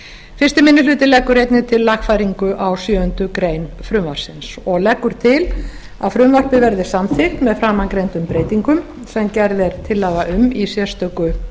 fyrsti minni hluti leggur einnig til lagfæringu á sjöundu greinar frumvarpsins og leggur til að frumvarpið verði samþykkt með framangreindum breytingum sem gerð er tillaga um í sérstöku